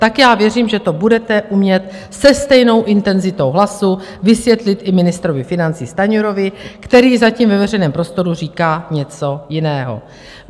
Tak já věřím, že to budete umět se stejnou intenzitou hlasu vysvětlit i ministrovi financí Stanjurovi, který zatím ve veřejném prostoru říká něco jiného.